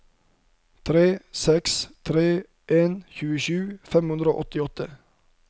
tre seks tre en tjuesju fem hundre og åttiåtte